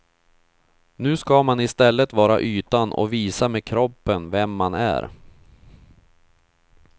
Nu ska man i stället vara ytan och visa med kroppen vem man är.